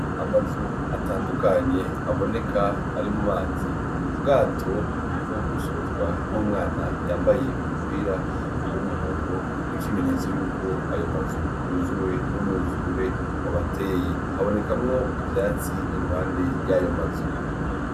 Amazu atandukanye aboneka ari mu mazi, ubwato buriko busozwa n'umwana yambaye umupira w'umuhondo, nk'ikimenyetso y'uko yuzuye n'umwuzure wabateye. Habonekamwo ivyatsi iruhande y'ayo mazu.